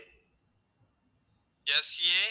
SA